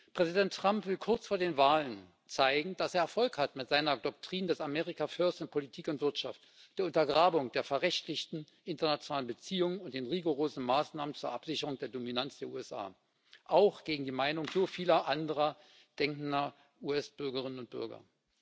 Präsident Trump will kurz vor den Wahlen zeigen, dass er Erfolg hat mit seiner Doktrin des America First in Politik und Wirtschaft, der Untergrabung der verrechtlichten internationalen Beziehungen und den rigorosen Maßnahmen zur Absicherung der Dominanz der USA, auch gegen die Meinung so vieler andersdenkender US Bürgerinnen und Bürger.